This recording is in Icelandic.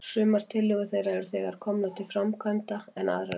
Sumar tillögur þeirra eru þegar komnar til framkvæmda, en aðrar ekki.